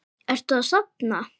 Ertu að safna?